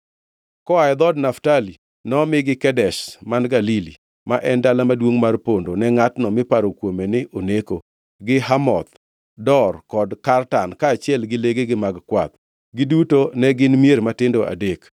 Koa e dhood Naftali, nomigi, Kedesh man Galili (ma en dala maduongʼ mar pondo ne ngʼatno miparo kuome ni oneko), gi Hamoth Dor kod Kartan, kaachiel gi legegi mag kwath. Giduto ne gin mier matindo adek.